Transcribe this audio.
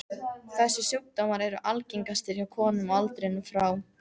Þessir sjúkdómar eru algengastir hjá konum á aldrinum frá